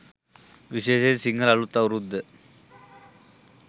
විශේෂයෙන් සිංහල අලුත් අවුරුද්ද